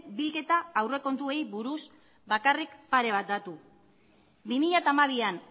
bilketa aurrekontuei buruz bakarrik pare bat datu bi mila hamabian